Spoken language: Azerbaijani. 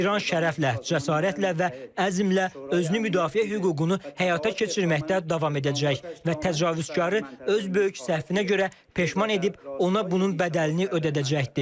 İran şərəflə, cəsarətlə və əzmlə özünü müdafiə hüququnu həyata keçirməkdə davam edəcək və təcavüzkarı öz böyük səhvinə görə peşman edib ona bunun bədəlini ödədəcəkdir.